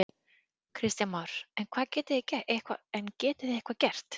Kristján Már: En getið þið eitthvað gert?